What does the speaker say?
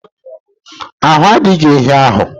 Ahu a dighi ehi ahu